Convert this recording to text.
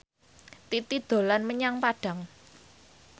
Titi dolan menyang Padang